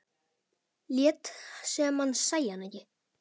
Lét sem hann sæi hana ekki.